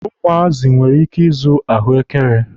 Ụmụazị nwere ike ịzụ ahụekere.